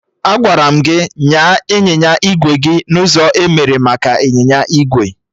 Agwara m gị nyaa ịnyịnya igwe gị n'ụzọ emere maka ịnyịnya igwe!